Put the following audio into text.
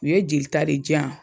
U ye jelita de j'an